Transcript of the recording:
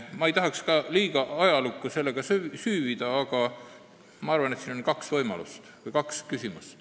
Ma ei tahaks liiga ajalukku süüvida, aga ma arvan, et siin on kaks võimalust.